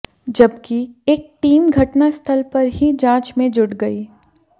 जबकि एक टीम घटनास्थल पर ही जांच में जुट गई